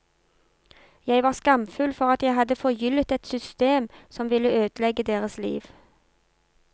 Jeg var skamfull for at jeg hadde forgyllet et system som ville ødelegge deres liv.